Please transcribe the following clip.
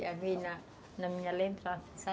na minha lembrança